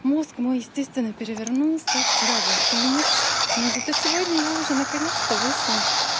мозг мой естественный перевернулся вчера был финиш но зато сегодня я уже наконец-то вышла